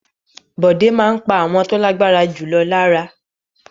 Bọ̀dé máa ń pa àwọn tó lágbára jù lọ lára.